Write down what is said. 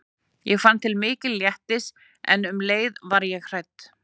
Ég fann til mikils léttis en um leið var ég hrædd.